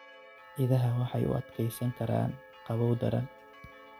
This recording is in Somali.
Idaha waxay u adkeysan karaan qabow daran.